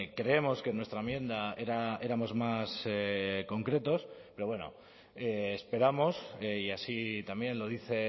creemos que en nuestra enmienda éramos más concretos pero bueno esperamos y así también lo dice